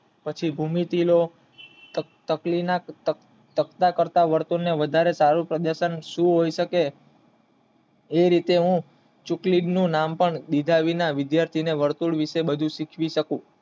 પછી ભૂમિતિ નો વધારે કાર્યકમ શું હોય શકે એ રીતે હું ચીકલીધા નું નામ પણ લીધા વિના વિધાયજી ને બધું શીખવી શકું